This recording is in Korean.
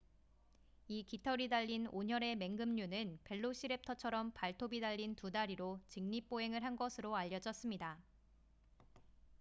이 깃털이 달린 온혈의 맹금류는 벨로시랩터처럼 발톱이 달린 두 다리로 직립 보행을 한 것으로 알려졌습니다